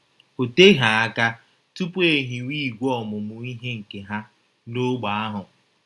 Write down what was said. O teghị aka tupu e hiwe ìgwè ọmụmụ ihe nke Ha n’ógbè ahụ.